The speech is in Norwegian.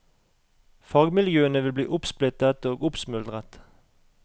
Fagmiljøene vil bli oppsplittet og oppsmuldret.